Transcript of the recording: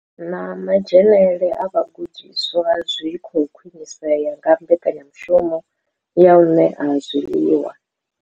Na madzhenele a vhagudiswa zwi khou khwinisea nga mbekanya mushumo ya u ṋea zwiḽiwa.